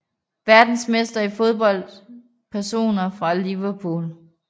Verdensmestre i fodbold Personer fra Liverpool